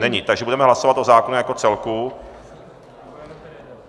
Není, takže budeme hlasovat o zákonu jako celku.